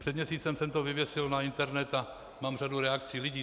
Před měsícem jsem to vyvěsil na internet a mám řadu reakcí lidí.